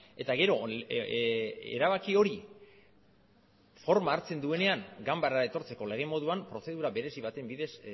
eta gero erabaki hori forma hartzen duenean ganbarara etortzeko lege moduan prozedura berezi baten bidez